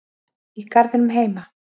Í garðinum heima?